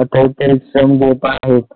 अतिशय परिश्रम घेत आहेत.